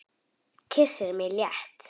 Kyssir mig létt.